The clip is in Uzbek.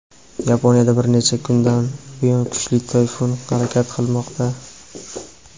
Yaponiyada bir necha kundan buyon kuchli tayfun harakat qilmoqda.